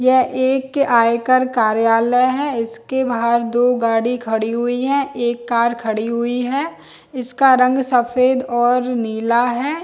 यह एक आयकर कार्यलय है इसके बाहर दो गाड़िया खड़ी हुई है एक कार खड़ी हुई है इसका रंग सफ़ेद और नीला है